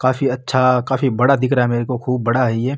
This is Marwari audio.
काफी अच्छा काफी बड़ा दिख रहा है मेरे को खूब बड़ा है ये।